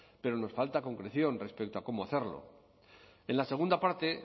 pero nos falta concreción respecto a cómo hacerlo en la segunda parte